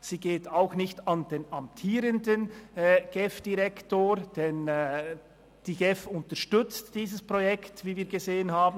Sie geht auch nicht an den amtierenden GEF-Direktor, denn die GEF unterstützt dieses Projekt nach Kräften, wie wir gesehen haben.